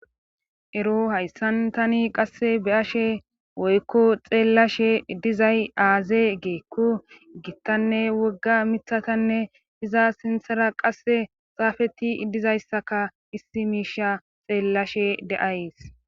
Ero hayssan tani qasse be ashe woykko xeellashe dizay aaze geekku gittanne wogga mithatanne iza sinthara qasse xaafeti dizayssaka issi miisha xeellashe deays.